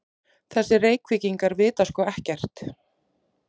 Þessir Reykvíkingar vita sko ekkert!